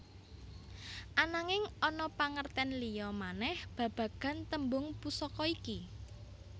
Ananging ana pangertén liya manèh babagan tembung Pusaka iki